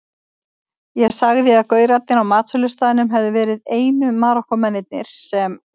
Ég sagði að gaurarnir á matsölustaðnum hefðu verið einu Marokkómennirnir sem